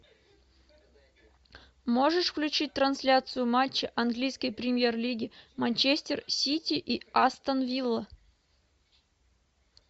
можешь включить трансляцию матча английской премьер лиги манчестер сити и астон вилла